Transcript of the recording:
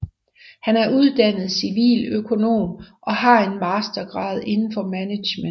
Han er uddannet civiløkonom og har enmastergrad indenfor management